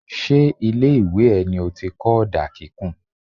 Ṣé ilé ìwé ẹ ní ó ti kọ́ ọ̀dà kíkùn.?